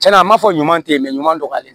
Tiɲɛna an m'a fɔ ɲuman te ɲuman dɔgɔlen